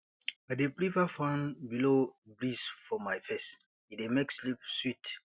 i dey prefer fan blow breeze for my face e dey make sleep sweet